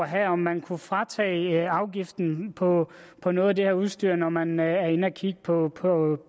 have om man kunne fratage afgiften på på noget af det her udstyr når man er inde at kigge på